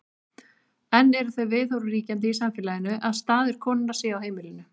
enn eru þau viðhorf ríkjandi í samfélaginu að staður konunnar sé á heimilinu